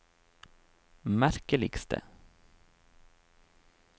merkeligste